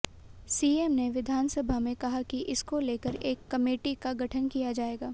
CM ने विधानसभा में कहा कि इसको लेकर एक कमेटी का गठन किया जाएगा